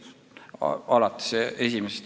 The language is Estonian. Peeter Ernits.